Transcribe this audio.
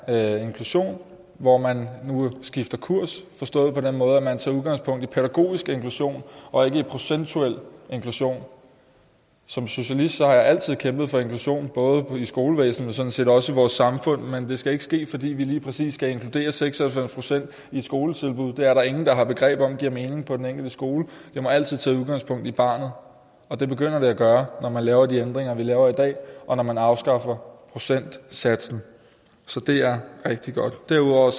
her inklusion hvor man nu skifter kurs forstået på den måde at man tager udgangspunkt i pædagogisk inklusion og ikke i procentuel inklusion som socialist har jeg altid kæmpet for inklusion både i skolevæsenet og sådan set også i vores samfund men det skal ikke ske fordi vi lige præcis skal inkludere seks og halvfems procent i et skoletilbud det er der ingen der har begreb om hvorvidt giver mening på den enkelte skole det må altid tage udgangspunkt i barnet og det begynder det at gøre når man laver de ændringer vi laver i dag og når man afskaffer procentsatsen så det er rigtig godt derudover